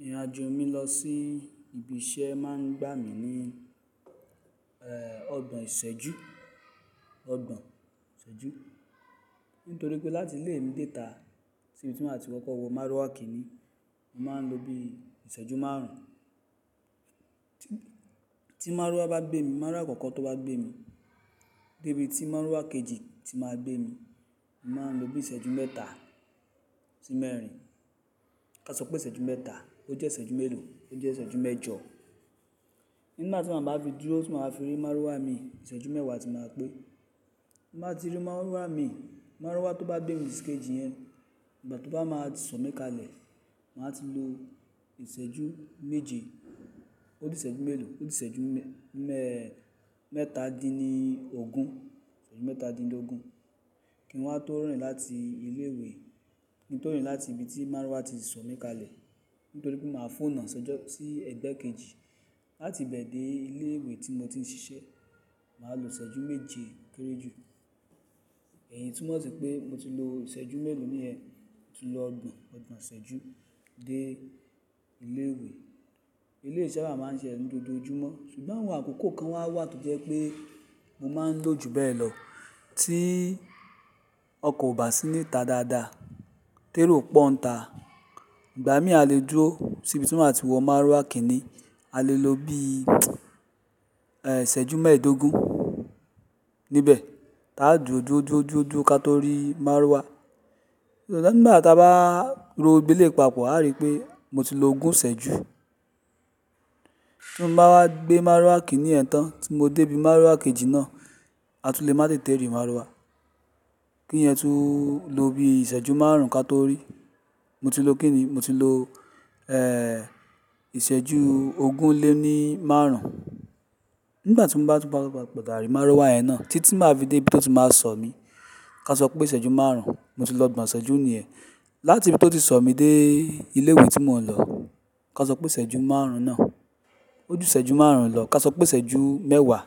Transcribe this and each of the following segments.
Ìrìnàjò mi lọ sí ibi iṣẹ́ máa ń gbà mí ní, ẹ́ẹ́, ọgbọ̀n ìṣẹ́jú, ọgbọ̀n ìṣẹ́jú. Nítorí pé láti ilé mi déta sí ibi tí màá ti koko wo márúwá kìíní, màá ń lo bí ìṣẹ́jú márùn ún. Tí márúwá bá gbé mi, márúwá àkọ́kọ́ tó bá gbé mi dé ibi tí márúwá kejì tí màá gbé mi, màá lo bí ìṣẹ́jú mẹ́ta sí mẹ́rin. Ká sọ pé ìṣẹ́jú mẹ́ta, o jẹ́ ìṣẹ́jú mélòó, o jẹ́ ìṣẹ́jú mẹ́jọ. Nígbà tí màá bá fi dúró, tí màá fi rí márúwá mi, ìṣẹ́jú mẹ́wàá tí màá pé. Má tí ri márúwá mi, márúwá tó bá gbé mi sí kejì yẹn, ìgbà tó bá máa ti sọ̀ mí kalẹ̀, màá ti lo ìṣẹ́jú méje. Ó di ìṣẹ́jú mélòó? Ó di ìṣẹ́jú mẹ́, mẹ́ta dín ní ogún, ìṣẹ́jú mẹ́ta dín lọ́gún. Kí wọ́n má tó rìn láti ilé ìwé, kí n to rìn láti ibi tí márúwá ti sọ̀ mí kalẹ̀. Nítorí pé màá fún ọ̀nà ìṣẹ́jọ́ sí ẹgbẹ́ kejì láti ibẹ̀ dé ilé ìwé tí mo ti ń ṣiṣẹ́. Màá lo ìṣẹ́jú méje kéré jù. Ẹ̀yin túmọ̀ sí pé mo ti lo ìṣẹ́jú mélòó níyẹn? Mo ti lo ọgbọ̀n, ọgbọ̀n ìṣẹ́jú dé ilé ìwé. Ilé ìṣẹ́ wa máa ń ṣẹṣẹ nínú dodojumọ, ṣùgbọ́n àwọn àkókò kan wà wà tó jẹ́ pé mo máa ń lọ jù bẹ́ẹ̀ lọ tí ọkọ̀ ò bá sí níta dáadáa, tẹ́rò pọ́ n ta. Ìgbà míì a lè dúró sí ibi tí màá ti wọ márúwá kìíní, a lè lo bí, ẹ́ẹ́, ìṣẹ́jú mẹ́ẹ̀ẹ́dógún níbẹ̀. Táa dúró, dúró, dúró, dúró, dúró ká tó rí márúwá. Ṣùgbọ́n nígbà táa bá ro gbogbo eleyi papọ̀, a rí pé mo ti lo ogún ìṣẹ́jú. Tí wọ́n bá wá gbé márúwá kìíní yẹn tán tí mo dé ibi márúwá kejì náà, a tún lè má tètè rí márúwá. Kíyẹn tún lo bí ìṣẹ́jú márùn ún ká tó rí. Mo ti lo kín ní? Mo ti lo, ẹ́ẹ́, ìṣẹ́jú ogún lé ní márùn ún. Nígbà tí mo bá ti padà rí márúwá yẹn náà títí tí màá dé ibi tó ti máa sọ̀ mí. Ká sọ pé ìṣẹ́jú márùn ún, mo ti lo ọgbọ̀n ìṣẹ́jú nìyẹn. Láti ibi tó ti sọ̀ mí dé ilé ìwé tí mò ń lọ, ká sọ pé ìṣẹ́jú márùn ún náà. Ó ju ìṣẹ́jú márùn ún lọ ká sọ pé ìṣẹ́jú mẹ́wàá.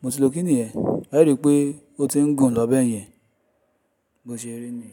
Mo ti lo kín níyẹn? A rí pé ó ti ń gùn lọ bẹ́ẹ̀ yẹn bó ṣe rí ni.